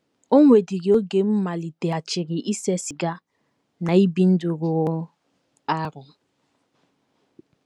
O nwedịrị oge m maliteghachiri ise siga na ibi ndụ rụrụ arụ.